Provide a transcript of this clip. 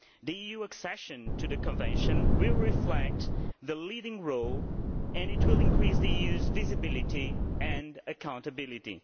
The EU's accession to the Convention will reflect its leading role, and it will increase the EU's visibility and accountability.